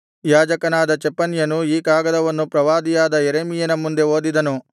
ಯಾಜಕನಾದ ಚೆಫನ್ಯನು ಈ ಕಾಗದವನ್ನು ಪ್ರವಾದಿಯಾದ ಯೆರೆಮೀಯನ ಮುಂದೆ ಓದಿದನು